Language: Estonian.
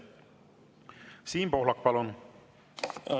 Siim Pohlak, palun!